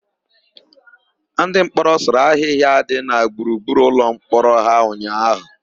Ndịmkpọrọ sụrụ ahịhịa dị na gburugburu ụlọmkpọrọ ha ụnyaahụ.